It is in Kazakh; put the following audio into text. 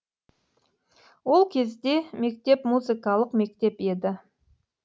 ол кезде мектеп музыкалық мектеп еді